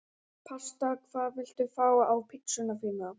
Pasta Hvað vilt þú fá á pizzuna þína?